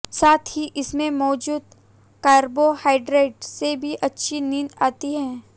साथ ही इसमें मौजूद कार्बोहाइड्रेट से भी अच्छी नींद आती है